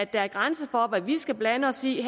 være grænser for hvad vi skal blande os i